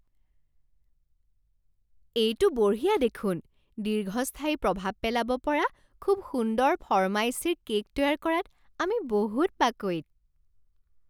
এইটো বঢ়িয়া দেখোন! দীৰ্ঘস্থায়ী প্ৰভাৱ পেলাব পৰা খুব সুন্দৰ ফৰ্মাইচীৰ কে'ক তৈয়াৰ কৰাত আমি বহুত পাকৈত।